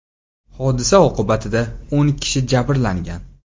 Hodisa oqibatida o‘n kishi jabrlangan.